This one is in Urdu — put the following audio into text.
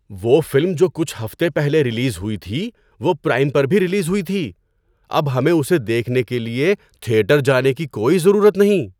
وہ فلم جو کچھ ہفتے پہلے ریلیز ہوئی تھی، وہ پرائم پر بھی ریلیز ہوئی تھی! اب ہمیں اسے دیکھنے کے لیے تھیٹر جانے کی کوئی ضرورت نہیں!